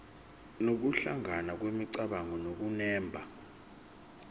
nokuhlangana kwemicabango nokunemba